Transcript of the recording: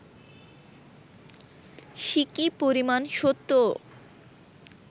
সিকি পরিমাণ সত্যও